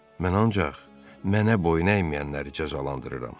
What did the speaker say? Mən ancaq mənə boyun əyməyənləri cəzalandırıram.